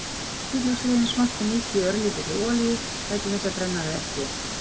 Saxið hvítlauksrifin smátt og mýkið í örlítilli olíu- gætið þess að brenna þau ekki.